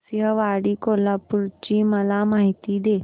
नृसिंहवाडी कोल्हापूर ची मला माहिती दे